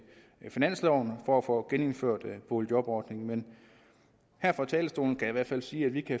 finansloven for at få genindført boligjobordningen men her fra talerstolen kan jeg i hvert fald sige at vi